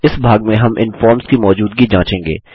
इस भाग में हम इन फॉर्म्स की मौजूदगी जाँचेंगे